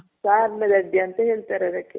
ಅಂತ ಹೇಳ್ತಾರ್ ಅದಕ್ಕೆ.